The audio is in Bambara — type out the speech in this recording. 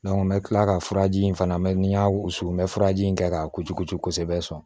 n bɛ kila ka furaji in fana mɛn n'i y'a wusu n bɛ furaji in kɛ k'a kucukucu kosɛbɛ sɔn